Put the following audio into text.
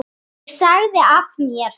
Ég sagði af mér.